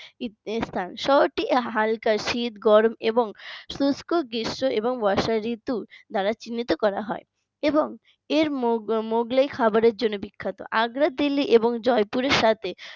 স্থান শহরটি হালকা শীত গরম এবং শুষ্ক গ্রীষ্ম এবং বর্ষা ঋতু দ্বারা চিহ্নিত করা হয় এবং এর মোগলাই খাবারের জন্য বিখ্যাত আগ্রা দিল্লি এবং জয়পুরের সাথে